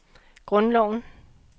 grundloven